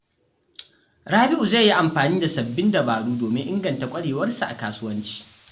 Rabi’u zai yi amfani da sababbin dabaru domin inganta ƙwarewarsa a kasuwanci.